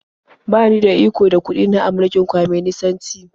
Ba ni da iko da kuɗi na a mulkin kwaminisanci.